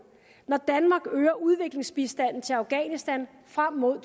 når danmark øger udviklingsbistanden til afghanistan frem mod